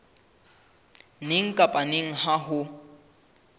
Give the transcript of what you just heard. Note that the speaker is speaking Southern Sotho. neng kapa neng ha ho